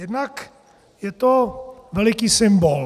Jednak je to veliký symbol.